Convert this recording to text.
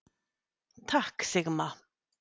Takk Sigma.